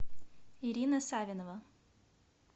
ирина савинова